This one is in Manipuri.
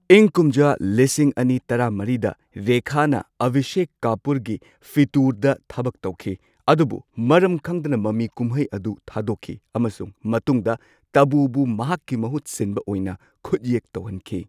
ꯏꯪ ꯀꯨꯝꯖꯥ ꯂꯤꯁꯤꯡ ꯑꯅꯤ ꯇꯔꯥꯃꯔꯤꯗ, ꯔꯦꯈꯥꯅ ꯑꯚꯤꯁꯦꯛ ꯀꯥꯄꯨꯔꯒꯤ ꯐꯤꯇꯨꯔꯗ ꯊꯕꯛ ꯇꯧꯈꯤ, ꯑꯗꯨꯕꯨ ꯃꯔꯝ ꯈꯪꯗꯅ ꯃꯃꯤ ꯀꯨꯝꯍꯩ ꯑꯗꯨ ꯊꯥꯗꯣꯛꯈꯤ ꯑꯃꯁꯨꯡ ꯃꯇꯨꯡꯗ ꯇꯥꯕꯨꯕꯨ ꯃꯍꯥꯛꯀꯤ ꯃꯍꯨꯠ ꯁꯤꯟꯕ ꯑꯣꯏꯅ ꯈꯨꯠꯌꯦꯛ ꯇꯧꯍꯟꯈꯤ꯫